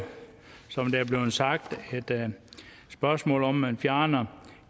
som det er blevet sagt et spørgsmål om at man fjerner